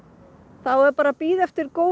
þá er bara að bíða eftir góðu